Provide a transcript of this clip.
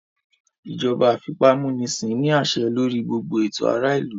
Ìjọba àfipámúnisin ní àṣẹ lórí gbogbo ètò ará ìlú